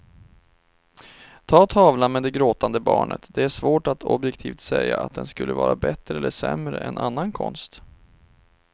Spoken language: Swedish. Ta tavlan med det gråtande barnet, det är svårt att objektivt säga att den skulle vara bättre eller sämre än annan konst.